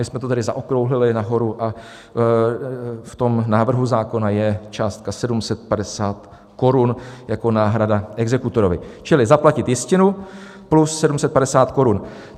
My jsme to tedy zaokrouhlili nahoru a v návrhu zákona je částka 750 korun jako náhrada exekutorovi, čili zaplatit jistinu plus 750 korun.